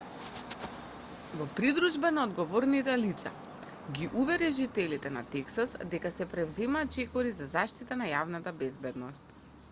во придружба на одговорните лица ги увери жителите на тексас дека се преземаат чекори за заштита на јавната безбедност